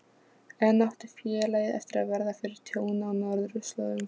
Enn átti félagið eftir að verða fyrir tjóni á norðurslóðum.